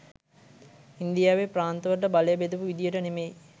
ඉන්දියාවේ ප්‍රාන්තවලට බලය බෙදපු විධියට නෙමෙයි..